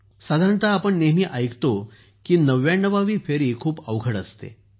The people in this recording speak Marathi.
साधारणतः आपण नेहमी ऐकतो की ९९ वी फेरी खूप अवघड असते